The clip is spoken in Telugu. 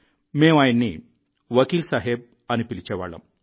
మేం ఆయన్నివకీల్ సాహెబ్ అని పిలిచేవాళ్ళం